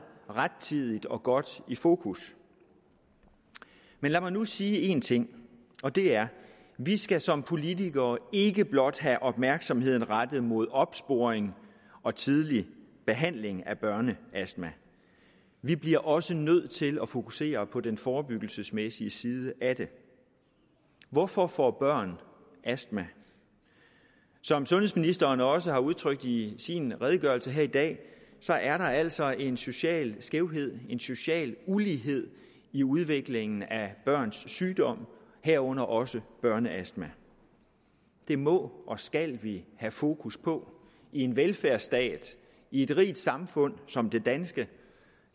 rettidigt og godt i fokus men lad mig nu sige en ting og det er vi skal som politikere ikke blot have opmærksomheden rettet mod opsporing og tidlig behandling af børneastma vi bliver også nødt til at fokusere på den forebyggelsesmæssige side af det hvorfor får børn astma som sundhedsministeren også har udtrykt det i sin redegørelse her i dag er der altså en social skævhed en social ulighed i udviklingen af børns sygdom herunder også børneastma det må og skal vi have fokus på i en velfærdsstat i et rigt samfund som det danske